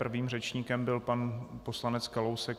Prvým řečníkem byl pan poslanec Kalousek.